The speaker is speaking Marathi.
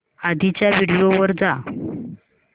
आधीच्या व्हिडिओ वर जा